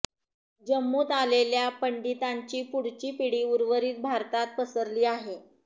जम्मूत आलेल्या पंडितांची पुढची पिढी उर्वरित भारतात पसरली आहे